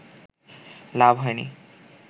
লাভ হয়নি